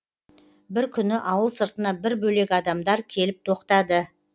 бір күні ауыл сыртына бір бөлек адамдар келіп тоқтады